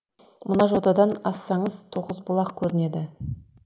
мына жотадан ассаңыз тоғызбұлақ көрінеді